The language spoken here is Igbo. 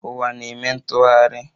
Uwa na-eme ntụghari